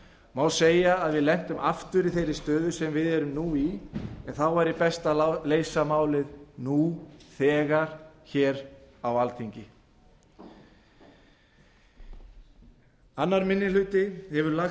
má þá segja að við lentum aftur í þeirri stöðu sem við erum í nú en þá væri best að leysa málið nú þegar hér á alþingi annar minni hluti hefur lagt